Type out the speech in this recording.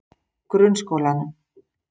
Grunnskólanum